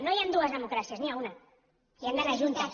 no hi han dues democràcies n’hi ha una i han d’anar juntes